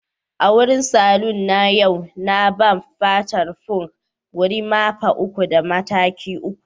a cikin saloon na a yau na barb fata punk, gorimapa uku da mataki uku